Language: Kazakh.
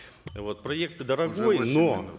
вот проект дорогой восемь но